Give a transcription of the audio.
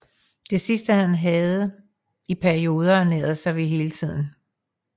Det sidste havde han i perioder ernæret sig ved hele tiden